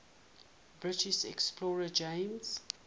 british explorer james